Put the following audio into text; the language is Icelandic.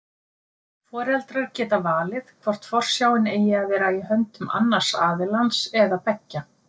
Foreldrar geta valið hvort forsjáin eigi að vera í höndum annars aðilans eða beggja.